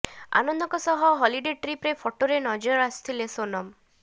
ଆନନ୍ଦଙ୍କ ସହ ହଲିଡେ ଟ୍ରିପର ଫଟୋରେ ନଜର ଆସିଲେ ସୋନମ